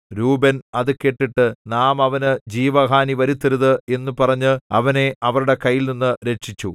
രൂബേൻ അത് കേട്ടിട്ട് നാം അവനു ജീവഹാനി വരുത്തരുത് എന്നു പറഞ്ഞ് അവനെ അവരുടെ കൈയിൽനിന്നു രക്ഷിച്ചു